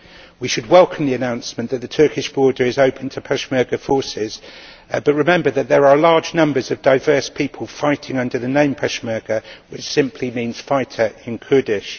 We should welcome the announcement that the Turkish border is open to Peshmerga forces, but remember that there are large numbers of diverse people fighting under the name Peshmerga, which simply means fighter in Kurdish.